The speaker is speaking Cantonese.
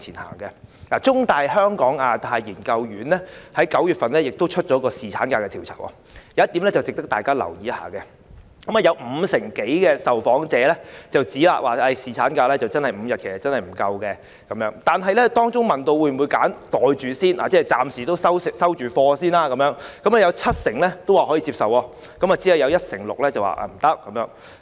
根據香港中文大學香港亞太研究所於9月份發表有關侍產假的調查，當中有一點值得大家留意，有五成多受訪者指侍產假增至5天不足夠，但當被問到應否"袋住先"——即暫時"收貨"——有七成表示可以接受，只有一成六表示不接受。